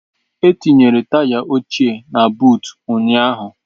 E tinyere taya ochie na buut ụnyaahụ.